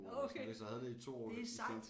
Okay det er sejt